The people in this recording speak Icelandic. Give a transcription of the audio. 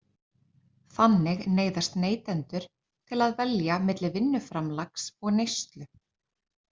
Þannig neyðast neytendur til að velja milli vinnuframlags og neyslu.